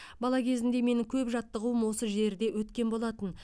бала кезімде менің көп жаттығуым осы жерде өткен болатын